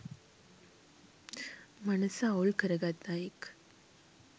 මනස අවුල් කරගත් අයෙක්